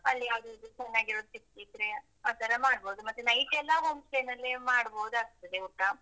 ಅಲ್ಲಿ ಯಾವದಾದ್ರು ಚೆನ್ನಾಗಿರುದು ಸಿಕ್ಕಿದ್ರೆ ಆತರ ಮಾಡ್ಬೋದು ಮತ್ತೆ night ಎಲ್ಲಾ home stay ನಲ್ಲಿ ಮಾಡ್ಬೋದಾಗ್ತದೆ ಊಟ.